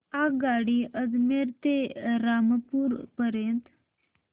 आगगाडी अजमेर ते रामपूर पर्यंत